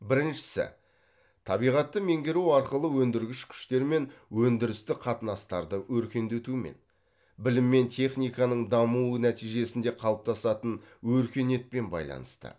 біріншісі табиғатты меңгеру арқылы өндіргіш күштер мен өндірістік қатынастарды өркендетумен білім мен техниканың дамуы нәтижесінде қалыптасатын өркениетпен байланысты